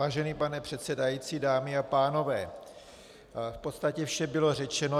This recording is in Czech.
Vážený pane předsedající, dámy a pánové, v podstatě vše bylo řečeno.